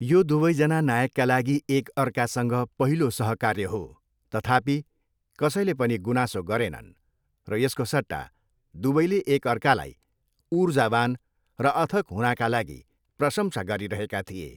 यो दुवैजना नायकका लागि एक अर्कासँग पहिलो सहकार्य हो, तथापि, कसैले पनि गुनासो गरेनन् र यसको सट्टा, दुवैले एक अर्कालाई ऊर्जावान् र अथक हुनाका लागि प्रशंसा गरिरहेका थिए।